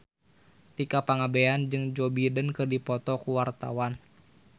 Tika Pangabean jeung Joe Biden keur dipoto ku wartawan